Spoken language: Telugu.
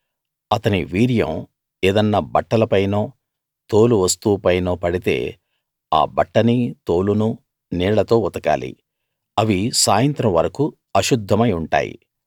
అతని వీర్యం ఏదన్నా బట్టలపైనో తోలు వస్తువు పైనో పడితే ఆ బట్టనీ తోలునూ నీళ్ళతో ఉతకాలి అవి సాయంత్రం వరకూ అశుద్ధమై ఉంటాయి